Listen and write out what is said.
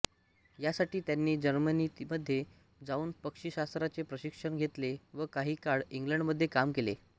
यासाठी त्यांनी जर्मनीमध्ये जाऊन पक्षिशास्त्राचे प्रशिक्षण घेतले व काही काळ इंग्लंडमध्ये काम केले